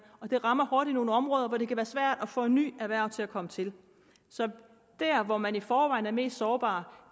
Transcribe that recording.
det rammer hårdt i nogle områder hvor det kan være svært at få nye erhverv til at komme til så dér hvor man i forvejen er mest sårbare